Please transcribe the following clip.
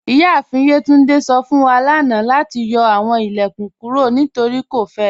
Iyaafin Yetúndé sọ fun wa lánà lati yọ awọn ilẹ̀kún kúrò nítorí kò fẹ̀.